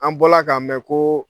An bɔla k'a mɛ koo